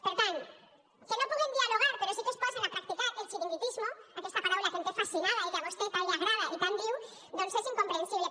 per tant que no pugan dialogar però sí que es posen a practicar el chiringuitismo aquesta paraula que em té fascinada i que a vostè tant li agrada i tant diu doncs és incomprensible